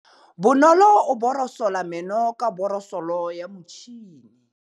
Bonolô o borosola meno ka borosolo ya motšhine.